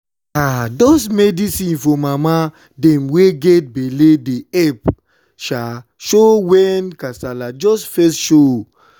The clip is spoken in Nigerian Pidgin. ah those medicine for mama dem wey get belle dey epp um show wen kasala just fess show.